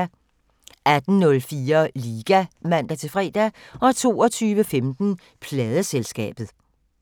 18:04: Liga (man-fre) 22:15: Pladeselskabet